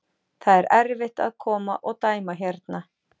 Það er erfitt að koma og dæma hérna.